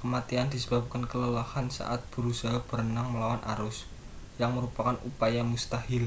kematian disebabkan kelelahan saat berusaha berenang melawan arus yang merupakan upaya mustahil